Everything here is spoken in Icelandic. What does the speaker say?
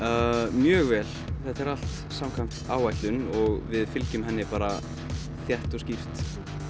mjög vel þetta er allt samkvæmt áætlun og við fylgjum henni bara þétt og skýrt